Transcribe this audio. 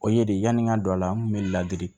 O ye de yani n ka don a la n kun be ladiri